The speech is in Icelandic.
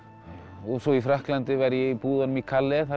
og svo í Frakklandi var ég í búðunum í Calais